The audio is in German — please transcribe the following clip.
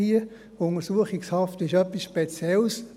Die Untersuchungshaft ist etwas Spezielles.